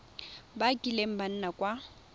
ba kileng ba nna kwa